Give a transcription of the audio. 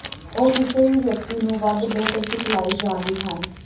ਉਹ ਕਿਸੇ ਵੀ ਵਿਅਕਤੀ ਨੂੰ ਵੱਧ ਬਿਹਤਰ ਸਿਖਲਾਈ ਜਾਣ ਲਈ ਹਨ